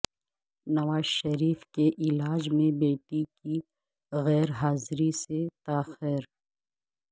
نواز شریف کے علاج میں بیٹی کی غیرحاضری سے تاخیر